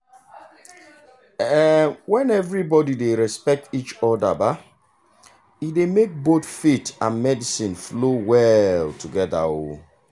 um when everybody dey respect each other um e dey make both faith and medicine flow well together. um